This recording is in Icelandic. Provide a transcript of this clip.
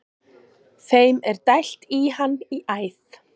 Þeim er dælt í hann í æð.